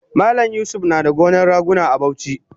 Malam yusuf nada gonan raguna a Bauchi